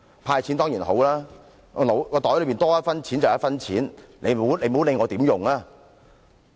"派錢"當然是一件好事，口袋裏能有多一分錢便是多一分錢，別管我會如何使用。